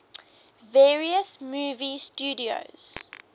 various movie studios